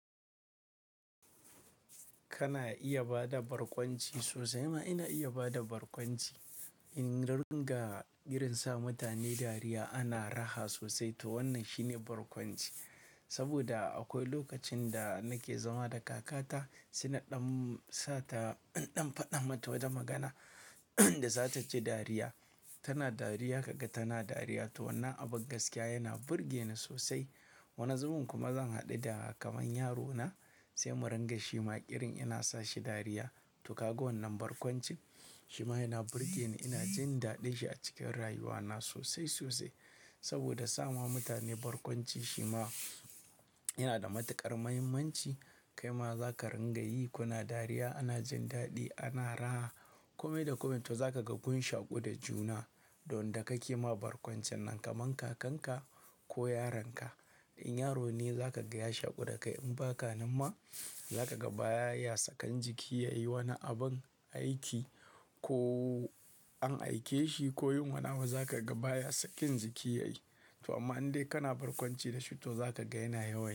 Kana iya ba da barkwanci sosai ma ina iya ba da barkwanci. In ringa irinsa mutane dariya ana raha sosai to wannan shine barkwanci. Saboda akwai lokacin da nake zama da kakata, saina ɗan sata, ɗan faɗa mata wata magana da za ta ji dariya. Tana dariya kaga tana dariya to wannan abin gaskiya yana burge ni sosai. Wani zubin kuma zan haɗu da kamar yaro na sai mu ringa shi ma irin ina sa shi dariya. To kaga wannan barkwanci? Shi ma yana burge ni, ina jin daɗin shi a cikin rayuwa na sosai, sosai. Saboda sa ma mutane barkwanci shi ma yana da matuƙar muhimmanci. Kai ma za ka ringa yi, kuna dariya ana jin daɗi ana raha. Kome da kome to za ka ga kun shaƙu da juna. Don da kake ma barkwancin nan kamar kakan ka ko yaron ka. In yaro ne za ka ga ya shaƙu da kai in ba kanan ma za ka ga baya sakan jiki ya yi wani abin aiki ko an aike shi koyin wani abu za ka ga baya sakin jiki yayi. To amma in dai kana barkwanci da shi to za ka ga yana yawan yi.